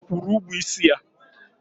Ọ kwụrụ ụgwọ isi ya?